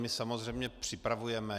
My samozřejmě připravujeme.